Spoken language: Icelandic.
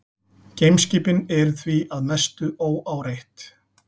Geimskipin eru því að mestu óáreitt.